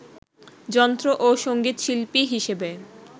যন্ত্র ও সঙ্গীতশিল্পী হিসেবে